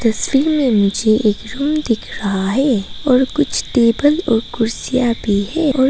तस्वीर में मुझे एक रूम दिख रहा है और कुछ टेबल और कुर्सियां भी हैं।